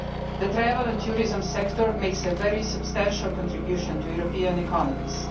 The travel and tourism sector makes a very substantial contribution to European economies.